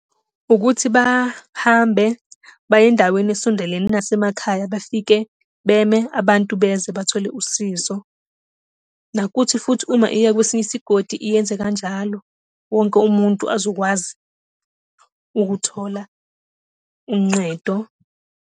Ukuthi bahambe baye endaweni esondelene nasemakhaya bafike beme, abantu beze bathole usizo. Nokuthi futhi uma iya kwesinye isigodi iyenze kanjalo. Wonke umuntu azokwazi ukuthola unqedo.